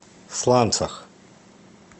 сланцах